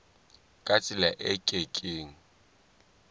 ka tsela e ke keng